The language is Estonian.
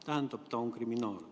Tähendab, ta on kriminaal.